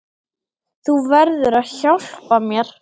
Þú verður að hjálpa mér.